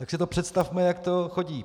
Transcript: Tak si to představme, jak to chodí.